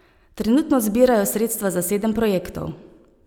Trenutno zbirajo sredstva za sedem projektov.